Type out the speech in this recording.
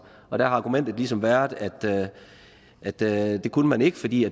og der har argumentet ligesom været at det kunne man ikke fordi